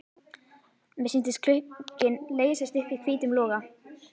Mér sýndist glugginn leysast upp í hvítum loga.